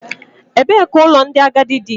Ebee ka ụlọ ndị agadi dị?